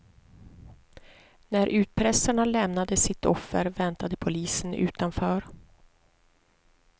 När utpressarna lämnade sitt offer väntade polisen utanför.